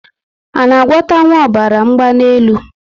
A na agwota nwu ọbara mgbanelu?